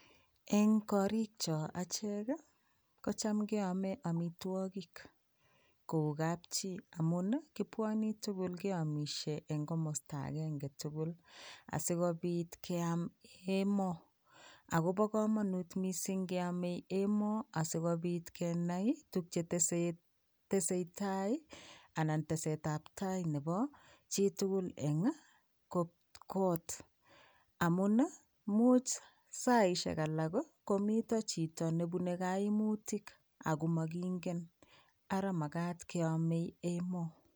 Eng korik cho achek kocham keame amitwokik kou kapchii amun kipwani tugul keamishe eng komosta agenge tugul, asigopit keam emoo akopo komonut mising keame emoo amun sikopit kenai tukche tesetai ana test ap tai nepo chitugul eng kot amun much saishek alak komito chito nepune kaimutik akomakingen ara magat keame emoo.